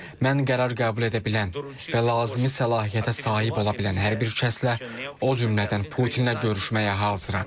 Mən qərar qəbul edə bilən və lazımi səlahiyyətə sahib ola bilən hər bir şəxslə, o cümlədən Putinə görüşməyə hazıram.